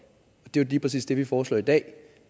og det lige præcis det vi foreslår i dag